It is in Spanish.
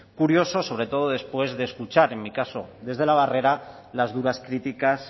curioso sobre todo después de escuchar en mi caso desde la barrera las duras críticas